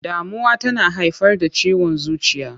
Damuwa tana haifar da ciwon zuciya.